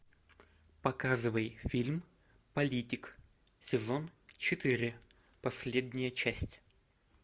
показывай фильм политик сезон четыре последняя часть